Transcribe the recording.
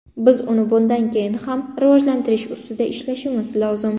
Biz uni bundan keyin ham rivojlantirish ustida ishlashimiz lozim.